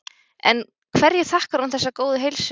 En hverju þakkar hún þessa góðu heilsu?